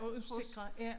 Og usikre ja